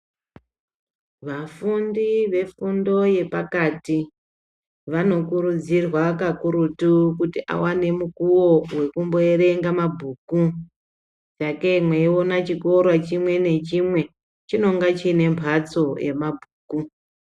Vafundi vefundo yepakati , vanokurudzirwa kakurutu kuti awane mukuwo wokumboyerenga mabhuku dake umwe eyiwona chikoro chimwe nechimwe chinonga chinembatso yemabhuku.